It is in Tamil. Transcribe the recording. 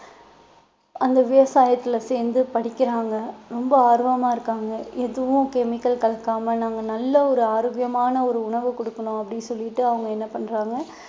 அந்த விவசாயத்துல சேர்ந்து படிக்கிறாங்க ரொம்ப ஆர்வமா இருக்காங்க எதுவும் chemical கலக்காம நாங்க நல்ல ஒரு ஆரோக்கியமான ஒரு உணவு கொடுக்கணும் அப்படின்னு சொல்லிட்டு அவங்க என்ன பண்றாங்க